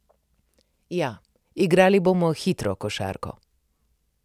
Ja, igrali bomo hitro košarko.